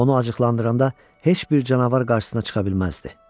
Onu acıqlandıranda heç bir canavar qarşısına çıxa bilməzdi.